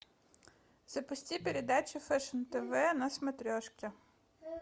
запусти передачу фешн тв на смотрешке